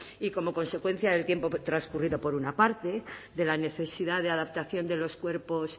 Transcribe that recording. y como consecuencia del tiempo transcurrido por una parte de la necesidad de adaptación de los cuerpos